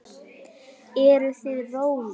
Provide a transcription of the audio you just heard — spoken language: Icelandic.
Eruð þið rollur?